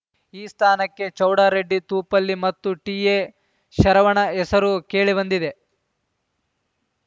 ಈ ಸ್ಥಾನಕ್ಕೆ ಚೌಡರೆಡ್ಡಿ ತೂಪಲ್ಲಿ ಮತ್ತು ಟಿಎಶರವಣ ಹೆಸರು ಕೇಳಿಬಂದಿದೆ